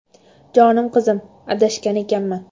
Jonim qizim, adashgan ekanman.